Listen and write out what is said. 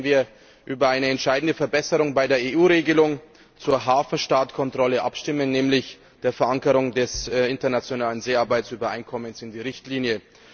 Morgen werden wir über eine entscheidende Verbesserung bei der EU Regelung zur Hafenstaatkontrolle abstimmen, nämlich die Verankerung des Internationalen Seearbeitsübereinkommens in der Richtlinie.